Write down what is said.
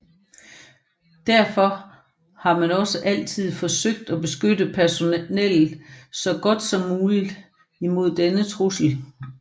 Derfor har man også altid forsøgt at beskytte personellet så godt som muligt imod denne trussel